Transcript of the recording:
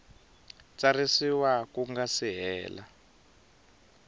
tsarisiwa ku nga si hela